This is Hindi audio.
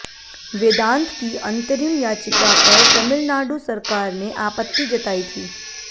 वेदांत की अंतरिम याचिका पर तमिलनाडु सरकार ने आपत्ति जताई थी